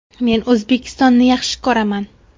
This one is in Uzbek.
Men O‘zbekistonni yaxshi ko‘raman.